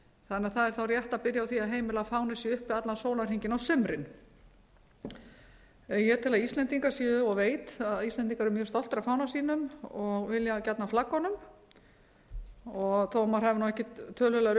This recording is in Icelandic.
þannig að það er þá rétt að byrja á því að heimila að fána sé uppi allan sólarhringinn á sumrin ég tel og veit að íslendingar eru mjög stoltir af fána sínum og vilja gjarnan flagga honum og þó maður hafi ekki töluverðar